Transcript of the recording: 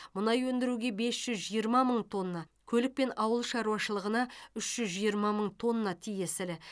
мұнай өндіруге бес жүз жиырма мың тонна көлік пен ауыл шаруашылығына үш жүз жиырма мың тонна тиесілі